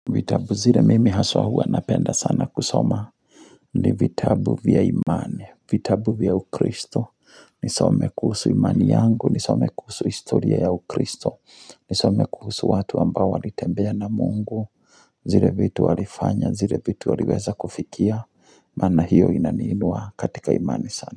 Vitabu zile mimi haswa huwa napenda sana kusoma ni vitabu vya imani vitabu vya ukristo Nisome kuhusu imani yangu Nisome kuhusu historia ya ukristo Nisome kuhusu watu ambao walitembea na mungu zile vitu walifanya zile vitu waliweza kufikia Maana hiyo inaniinua katika imani sana.